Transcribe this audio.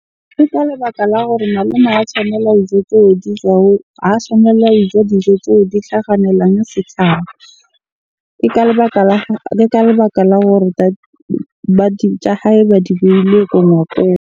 Ke ka lebaka la gore malome ha tshwanela dijo tseo di ha tshwanela ho ja dijo tseo di hlakganela setjhaba. Ke ka lebaka la ka lebaka la hore tsa hae ba di beile .